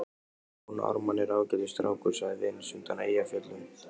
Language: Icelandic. Jón Ármann er ágætis strákur, sagði Venus undan Eyjafjöllum.